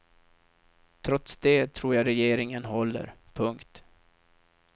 Trots det tror jag regeringen håller. punkt